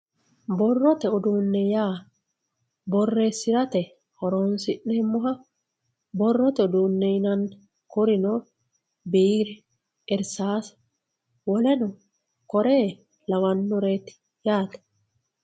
Boroye udune ya boresirate horonsinemoha boroye udune yinanni kurino birre irisase woleno kirre lawanoreti yate